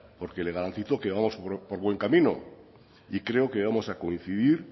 porque le garantizo que vamos por buen camino y creo que vamos a coincidir